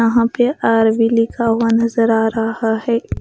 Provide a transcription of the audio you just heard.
यहां पे आर_वी लिखा हुआ नजर आ रहा है।